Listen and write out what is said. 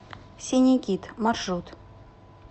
синий кит маршрут